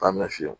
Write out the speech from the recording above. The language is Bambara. An bɛ fiyɛ